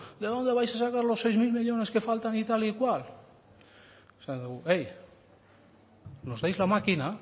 de dónde vais a sacar los seis mil millónes que faltan y tal y cual esaten diogu nos dais la máquina